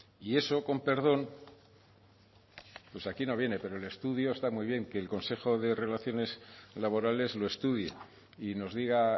y eso con perdón pues aquí no viene pero el estudio está muy bien que el consejo de relaciones laborales lo estudie y nos diga